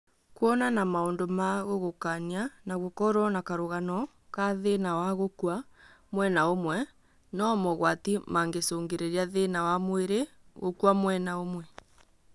Kũona na maũndũ ma gũgũkania na gũkorwo na karũgano ya thĩna wa gũkua mwena ũmwe no mogwati mangĩcũngĩrĩria thĩna wa mwĩrĩ gũkua mwena ũmwe